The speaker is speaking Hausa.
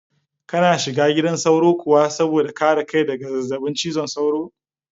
Kana shiga gidan sauro kuwa saboda kare kai daga zazzabin cizon sauro?